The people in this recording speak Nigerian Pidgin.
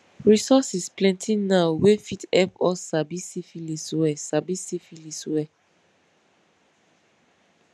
resources plenty now wey fit help us sabi syphilis well sabi syphilis well